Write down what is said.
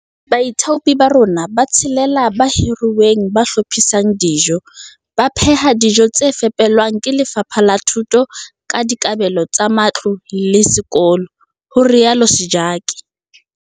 Baithaupi ba rona ba tshelela ba hiruweng ba hlophisang dijo, VFH, ba pheha dijo tse fepelwang ke Lefapha la Thuto ka dikabelo tsa matlole ho sekolo, ho rialo Sejake.